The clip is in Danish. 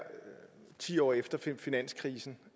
ti år efter finanskrisen